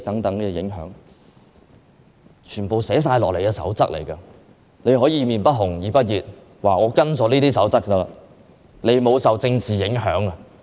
雖然這些因素全皆包含於《守則》內，但她卻可以"臉不紅，耳不熱"地表示已根據《守則》行事，沒有受政治因素影響。